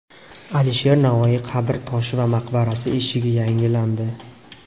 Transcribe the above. Alisher Navoiy qabr toshi va maqbarasi eshigi yangilandi.